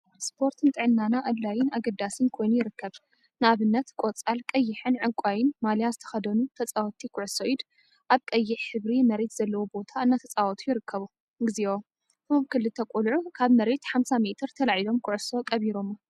ስፖርት ንጥዕናና አድላይን አገዳሲን ኮይኑ ይርከብ፡፡ ንአብነት ቆፃል፣ ቀይሕን ዕንቋይን ማልያ ዝተከደኑ ተፃወቲ ኩዕሶ ኢድ አብ ቀይሕ ሕብሪ መሬት ዘለዎ ቦታ እናተፃወቱ ይርከቡ፡፡ እግዚኦ! እቶም ክልተ ቆልዑ ካብ መሬት 50 ሜትሮ ተላዒሎም ኩዕሱ ቀቢሮማ፡፡